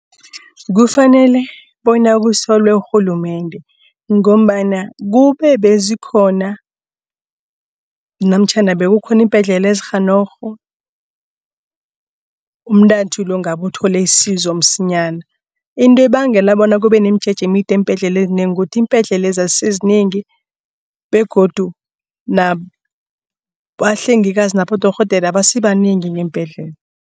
Kufanele bona kusolwe urhulumende ngombana kube bezikhona namtjhana bekukhona iimbhedlela ezirhanorho umntathu ngabe uthole isizo msinyana. Into ebangela bona kube nomjeje emide eembhedlela ezinengi ukuthi iimbhedlela lezi azisizinengi begodu nabahlengikazi nabodorhodera abasibanengi ngeembhedlela.